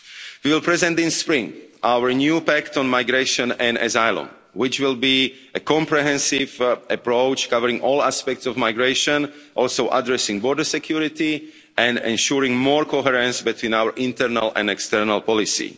WTO. We will present in spring our new impact on migration and asylum, which will be a comprehensive approach covering all aspects of migration, also addressing border security and ensuring more coherence between our internal and external policy.